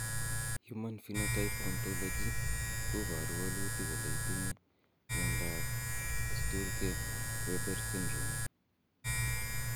Human Phenotype Ontology koporu wolutik kole itinye Miondap Sturge Weber syndrome?